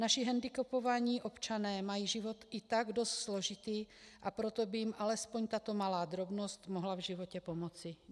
Naši hendikepovaní občané mají život i tak dost složitý, a proto by jim alespoň tato malá drobnost mohla v životě pomoci.